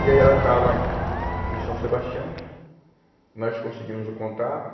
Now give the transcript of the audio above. E aí ela estava em em São Sebastião, nós conseguimos o contato.